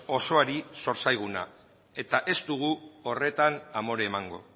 osoari zor zaiguna eta ez dugu horretan amore emango